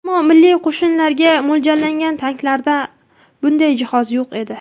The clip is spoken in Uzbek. Ammo milliy qo‘shinlarga mo‘ljallangan tanklarda bunday jihoz yo‘q edi.